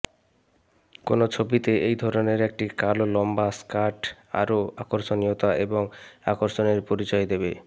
কোনও ছবিতে এই ধরনের একটি কালো লম্বা স্কার্ট আরো আকর্ষণীয়তা এবং আকর্ষণের পরিচয় দেবে